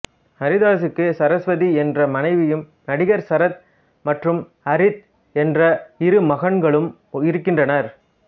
அரிதாஸுக்கு சரஸ்வதி என்ற மனைவியும் நடிகர் சரத் மற்றும் அரித் என்ற இரு மகன்களும் இருக்கின்றனர்